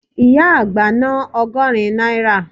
Ìyá àgbá ná ọgọ́rin náírà